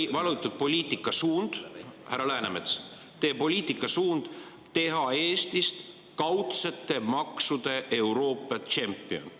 Teie valitud poliitikasuund, härra Läänemets, on teha Eestist kaudsete maksude Euroopa tšempion.